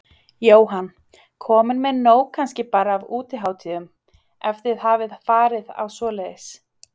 Jóhann: Komin með nóg kannski bara af útihátíðum, ef þið hafið farið á svoleiðis?